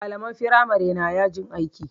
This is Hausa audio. Malaman firamare na yajin aiki